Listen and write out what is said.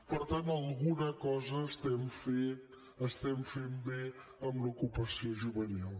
per tant alguna cosa estem fent bé amb l’ocupació juvenil